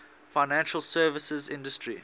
financial services industry